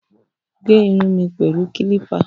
Gẹ irun mi pẹ̀lú kílípà